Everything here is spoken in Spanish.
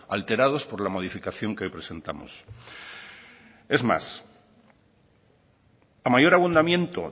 alterados por la modificación que hoy presentamos es más a mayor abundamiento